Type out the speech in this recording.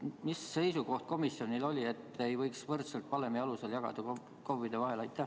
Mis seisukoht komisjonil oli, miks ei võiks võrdselt valemi alusel jagada KOV-ide vahel?